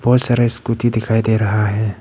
बहुत सारे स्कूटी दिखाई दे रहा है।